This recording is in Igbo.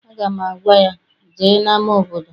Aga m agwa ya, jee n'ama obodo!